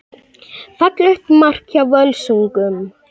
Fallegt mark hjá Völsungum.